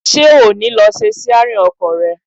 Ṣé o ò ní lọ ṣe síárìn ọkọ̀ rẹ?